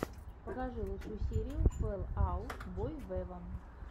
покажи лучшую серию фэл аут бой вево